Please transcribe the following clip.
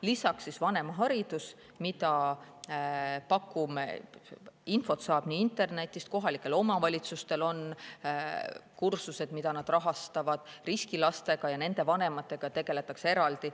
Lisaks, vanemaharidus, mida pakume, selle kohta saab infot internetist, kohalikel omavalitsustel on kursused, mida nad rahastavad, riskilastega ja nende vanematega tegeldakse eraldi.